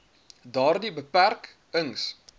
daardie beperk ings